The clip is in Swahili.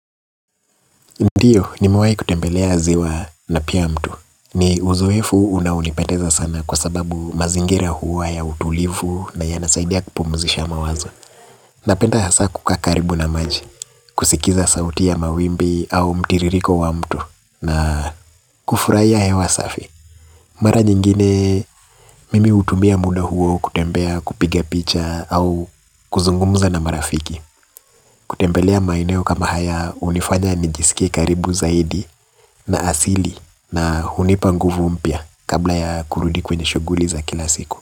Ndiyo, nimewahi kutembelea ziwa na pia mto. Ni uzoefu unao unipendeza sana kwa sababu mazingira huwa ya utulivu na ya nasaidia kupumzisha mawazo. Napenda hasa kukaa karibu na maji, kusikiza sauti ya mawimbi au mtiririko wa mto na kufurahia hewa safi. Mara nyingine, mimi utumia muda huo kutembea kupiga picha au kuzungumuza na marafiki. Kutembelea maeneo kama haya unifanya nijisikie karibu zaidi na asili na hunipa nguvu mpya kabla ya kurudi kwenye shughuli za kila siku.